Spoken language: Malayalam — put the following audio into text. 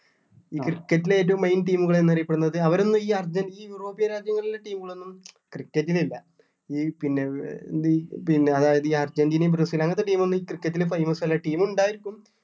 cricket ല് ഏറ്റവും main team കൾ എന്ന് അറിയപ്പെടുന്നത് അവരൊന്നും ഈ അർജൻ ഈ european രാജ്യങ്ങളിലെ team കൾ ഒന്നും cricket ല് ഇല്ല ഈ പിന്നെ ഏർ ഈ പിന്നെ അതായത് ഈ അർജന്റീനയും ബ്രസീല് അങ്ങനത്തെ team ഒന്നും ഈ cricket ല് famous അല്ല team ഉണ്ടാരിക്കും